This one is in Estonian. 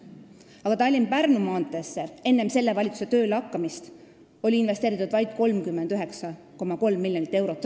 Aga Tallinna–Pärnu maanteesse oli enne selle valitsuse töölehakkamist investeeritud vaid 39,3 miljonit eurot.